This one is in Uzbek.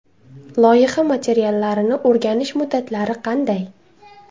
Loyiha materiallarini o‘rganish muddatlari qanday?